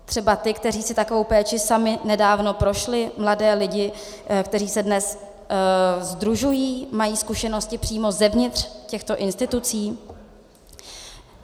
Třeba ty, kteří si takovou péčí sami nedávno prošli, mladé lidi, kteří se dnes sdružují, mají zkušenosti přímo zevnitř těchto institucí?